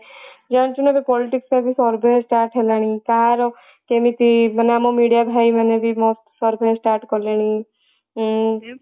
ଜାଣିଛୁ ନା politics ଟା ବି survey start ହେଲାଣି ତାର କେମିତି ମାନେ ଆମ ମେଡିଆ ଭାଇ ମାନେ ବି survey start କଲେଣି ଉଁ